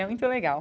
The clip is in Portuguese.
É muito legal.